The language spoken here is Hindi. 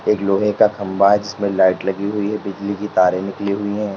एक लोहे का खंबा है जिसमें लाइट लगी हुई है बिजली की तारे निकली हुई है।